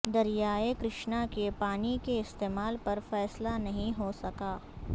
دریائے کرشنا کے پانی کے استعمال پر فیصلہ نہیں ہو سکا